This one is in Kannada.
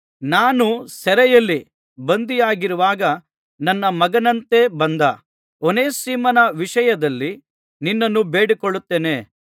ನಾನು ಸೆರೆಯಲ್ಲಿ ಬಂಧಿಯಾಗಿರುವಾಗ ನನ್ನ ಮಗನಂತೆ ಬಂದ ಓನೇಸಿಮನ ವಿಷಯದಲ್ಲಿ ನಿನ್ನನ್ನು ಬೇಡಿಕೊಳ್ಳುತ್ತೇನೆ